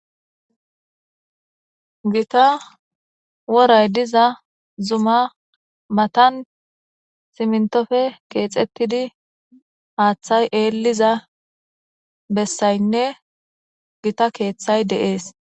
Gita woray diza zuma matan simintoppe kexetidi hatay eliza besaynne gita kethay de'es.